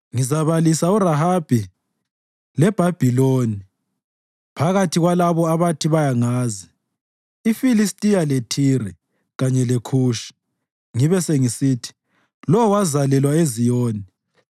“Ngizabalisa uRahabi leBhabhiloni phakathi kwalabo abathi bayangazi iFilistiya leThire, kanye leKhushi ngibe sengisithi, ‘Lo wazalelwa eZiyoni.’ ”